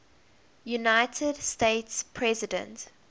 united states president